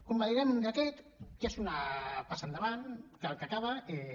convalidarem un decret que és una passa endavant que el que acaba és